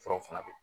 Furaw fana bɛ